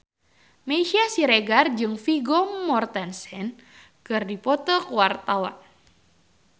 Meisya Siregar jeung Vigo Mortensen keur dipoto ku wartawan